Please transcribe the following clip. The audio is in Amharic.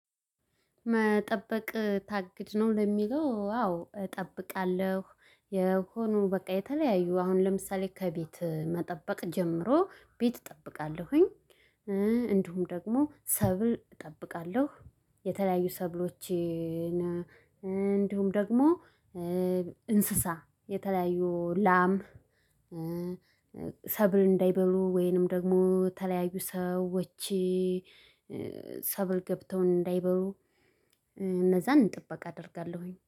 መጠበቅ ታግድ ነው ለሚለው አዎ እጠብቃለሁ የሆነው በቃ የተለያዩ አሁን ለምሳሌ ከቤት መጠበቅ ጀምሮ ቤት እጠብቃለሁኝ። እንዲሁም ደግሞ ሰብል እጠብቃለሁ የተለያዩ ሰብሎችን እንዲሁም ደግሞ እንስሳ የተለያዩ ላም ሰብል እንዳይበሉ ወይንም ደግሞ የሀለያዩ ሰዎች ሰብል ገብተው እንዳይበሉ እነዛን ጥበቃ አደርጋለሁኝ